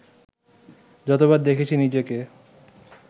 যতবার দেখেছি নিজেকে